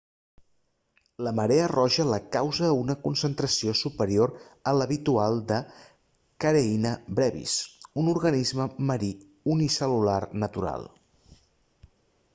la marea roja la causa una concentració superior a l'habitual de karenia brevis un organisme marí unicel·lular natural